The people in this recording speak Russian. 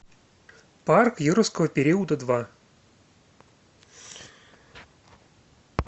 парк юрского периода два